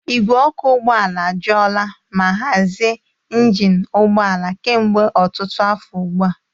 Ìgwè ọkụ ụgbọ ala ajụola ma hazie injin ụgbọ ala kemgbe ọtụtụ afọ ugbu a.